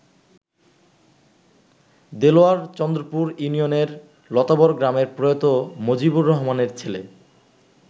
দেলোয়ার চন্দ্রপুর ইউনিয়নের লতাবর গ্রামের প্রয়াত মজিবর রহমানের ছেলে।